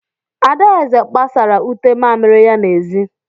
Adaeze gbasara ute mamịrị ya n'ezi.